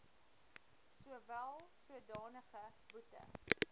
sowel sodanige boete